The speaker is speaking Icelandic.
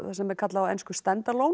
sem er kallað á ensku stand